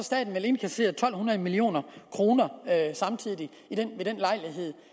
indkasserer to hundrede million kroner samtidig ved den lejlighed